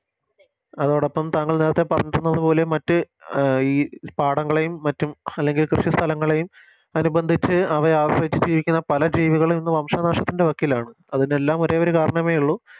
അതോടൊപ്പം താങ്കൾ നേരത്തെ പറഞ്ഞിരിക്കുന്നത് പോലെ മറ്റ് ഈ പാടങ്ങളെയും മറ്റും അല്ലെങ്കില് ഈ കൃഷി സ്ഥലങ്ങളെയും അനുബന്ധിച്ച് അവയെ ആശ്രയിച്ച് ജീവിക്കുന്ന പല ജീവികളും ഇന്ന് വംശനാശത്തിൻറെ വക്കിലാണ് അതിനെല്ലാം ഒരേയൊരു കരണമേയുള്ളു